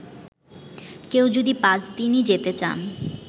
কেউ যদি পাঁচদিনই যেতে চান